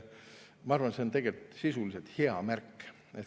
Ma arvan, et see on sisuliselt hea märk.